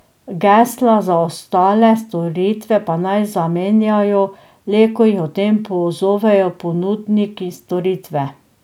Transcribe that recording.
Gesla za ostale storitve pa naj zamenjajo le, ko jih o tem pozovejo ponudniki storitve.